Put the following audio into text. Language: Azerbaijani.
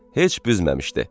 Heç büzməmişdi.